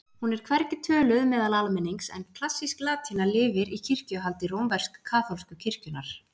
Hún er hvergi töluð meðal almennings en klassísk latína lifir í kirkjuhaldi rómversk-kaþólsku kirkjunnar.